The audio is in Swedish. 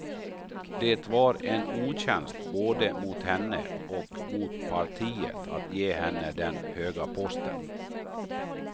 Det var en otjänst både mot henne och mot partiet att ge henne den höga posten.